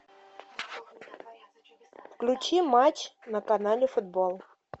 включи матч на канале футбол